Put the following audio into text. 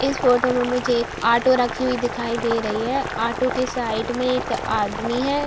इस फोटो में मुझे एक आटो रखी हुई दिखाई दे रही है | आटो के साइड में एक आदमी है |